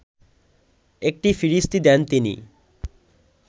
একটি ফিরিস্তি দেন তিনি